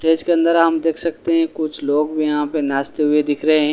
stage के अंदर हम देख सकते हैं कुछ लोग भी यहां पे नाचते हुए दिख रहे--